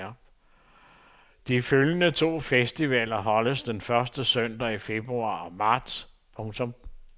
De følgende to festivaler holdes den første søndag i februar og marts. punktum